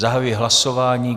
Zahajuji hlasování.